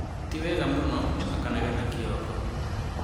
" Tiwega mũno" akanegena Kioko.